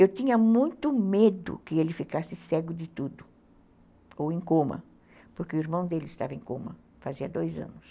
Eu tinha muito medo que ele ficasse cego de tudo ou em coma, porque o irmão dele estava em coma fazia dois anos.